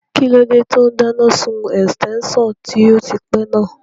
Kíló dé tó n dáná sun ẹ̀sítẹ́nsàn tó ti pẹ́ náà?